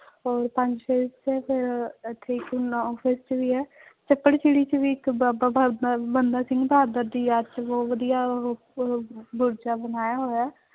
ਔਰ ਪੰਜ ਛੇ ਇੱਥੇ ਫਿਰ ਇੱਥੇ ਨੋਂ ਫੇਸ ਚ ਵੀ ਹੈ, ਚੱਪੜਚਿੜੀ ਚ ਵੀ ਇੱਕ ਬਾਬਾ ਬੰਦਾ ਸਿੰਘ ਬਹਾਦਰ ਦੀ ਯਾਦ ਚ ਬਹੁਤ ਵਧੀਆ ਉਹ, ਉਹ ਬਣਾਇਆ ਹੋਇਆ ਹੈ